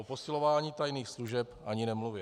O posilování tajných služeb ani nemluvě.